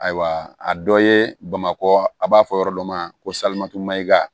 Ayiwa a dɔ ye bamakɔ a b'a fɔ yɔrɔ dɔ ma ko salatumayiga